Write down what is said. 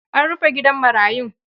An rufe gidan marayun.